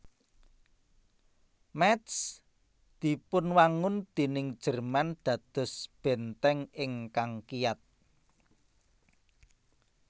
Métz dipunwangun déning Jerman dados bèntèng ingkang kiyat